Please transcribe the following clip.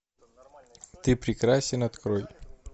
ты прекрасен открой